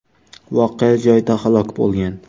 voqea joyida halok bo‘lgan.